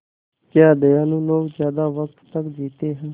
क्या दयालु लोग ज़्यादा वक़्त तक जीते हैं